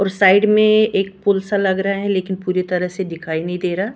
और साइड में एक पुल सा लग रहा है लेकिन पूरी तरह से दिखाई नहीं दे रहा--